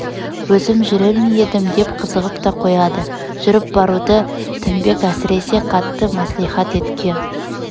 өзім жүрер ме едім деп қызығып та қояды жүріп баруды тінбек әсресе қатты мәслихат еткен